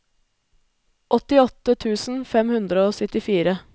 åttiåtte tusen fem hundre og syttifire